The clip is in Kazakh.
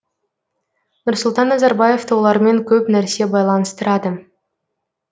нұрсұлтан назарбаевты олармен көп нәрсе байланыстырады